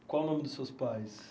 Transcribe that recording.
E qual o nome dos seus pais?